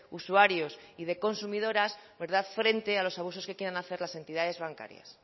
usuarios y consumidoras frente a los abusos que quieran hacer las entidades bancarias